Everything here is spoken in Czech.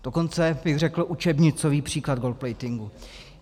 Dokonce bych řekl učebnicový příklad gold-platingu.